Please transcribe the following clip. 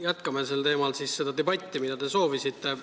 Jätkame siis seda debatti, mida te vajalikuks peate.